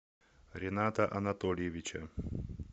рината анатольевича